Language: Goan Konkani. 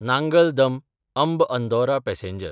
नांगल दम–अंब अंदौरा पॅसेंजर